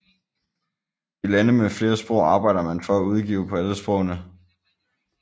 I lande med flere sprog arbejder man for at udgive på alle sprogene